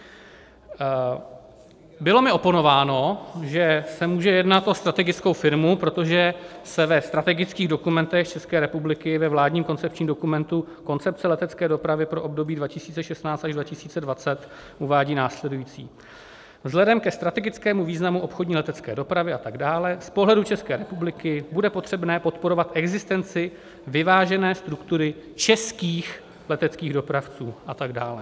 Bylo mi oponováno, že se může jednat o strategickou firmu, protože se ve strategických dokumentech České republiky, ve vládním koncepčním dokumentu Koncepce letecké dopravy pro období 2016 až 2020, uvádí následující: Vzhledem ke strategickému významu obchodní letecké dopravy... a tak dále z pohledu České republiky bude potřebné podporovat existenci vyvážené struktury českých leteckých dopravců... a tak dále.